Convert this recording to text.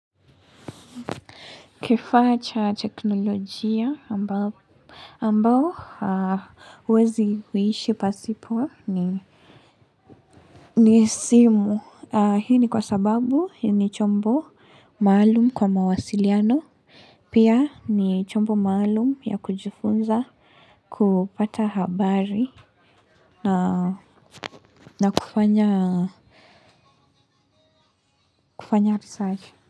Kifaa cha teknolojia ambao ambao huwezi kuishi pasipo ni simu hii ni kwa sababu ni chombo maalum kwa mawasiliano pia ni chombo maalum ya kujifunza. Kupata habari na na kufanya kufanya research.